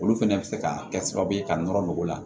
Olu fɛnɛ bɛ se ka kɛ sababu ye ka nɔrɔ nɔgɔ la